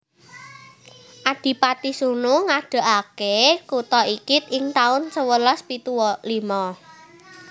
Adipati Sunu ngadegake kutha iki ing taun sewelas pitu limo